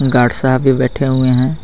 Guard साहब भी बैठे हुए हैं.